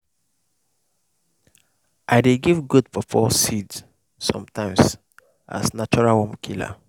i dey give goat pawpaw seed sometimes as natural worm killer.